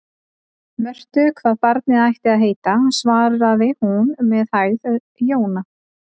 Mörtu hvað barnið ætti að heita, svaraði hún með hægð: Jóna.